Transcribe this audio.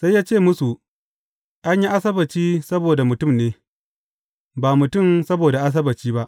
Sai ya ce musu, An yi Asabbaci saboda mutum ne, ba mutum saboda Asabbaci ba.